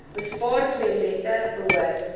bespaar toilette behoort